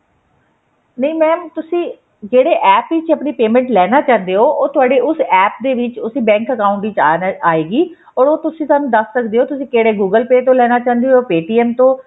ਨਹੀ mam ਤੁਸੀਂ ਜਿਹੜੇ ਵਿੱਚ ਆਪਣੀ payment ਲੈਣਾ ਚਾਹੁੰਦੇ ਹੋ ਉਹ ਤੁਹਾਡੇ ਉਸ APP ਦੇ ਵਿੱਚ ਉਸ ਬੈੰਕ account ਦੇ ਵਿੱਚ ਆਏਗੀ or ਉਹ ਤੁਸੀਂ ਸਾਨੂੰ ਦੱਸ ਸਕਦੇ ਹੋ ਤੁਸੀਂ ਕਿਹੜੇ google pay ਤੋਂ ਲੈਣਾ ਚਾਹੁੰਦੇ ਹੋ ਜਾ paytm ਤੋਂ